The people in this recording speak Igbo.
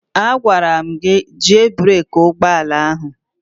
A gwara m gị jie breeki ụgbọala ahụ!